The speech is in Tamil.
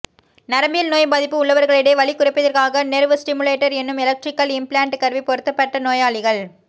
நரம்பியல் நோய் பாதிப்பு உள்ளவர்களிடையே வலி குறைப்பிற்காகநெர்வ் ஸ்டிமுலேட்டர் எனும் எலக்ட்ரிகல் இம்பிளாண்ட் கருவி பொருத்தப்பட்ட நோயாளிகள்